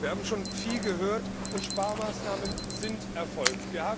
Wir haben schon viel gehört, und Sparmaßnahmen sind erfolgt.